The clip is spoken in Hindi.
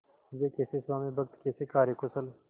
वे कैसे स्वामिभक्त कैसे कार्यकुशल